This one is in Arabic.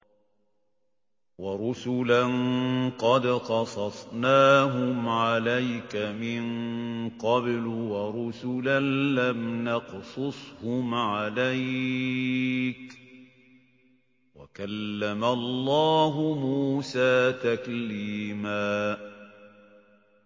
وَرُسُلًا قَدْ قَصَصْنَاهُمْ عَلَيْكَ مِن قَبْلُ وَرُسُلًا لَّمْ نَقْصُصْهُمْ عَلَيْكَ ۚ وَكَلَّمَ اللَّهُ مُوسَىٰ تَكْلِيمًا